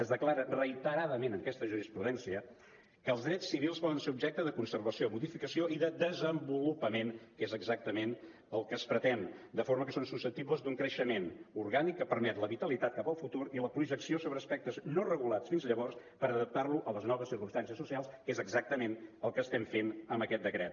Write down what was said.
es declara reiteradament en aquesta jurisprudència que els drets civils poden ser objecte de conservació modificació i de desenvolupament que és exactament el que es pretén de forma que són susceptibles d’un creixement orgànic que permet la vitalitat cap al futur i la projecció sobre aspectes no regulats fins llavors per adaptar lo a les noves circumstàncies socials que és exactament el que estem fent amb aquest decret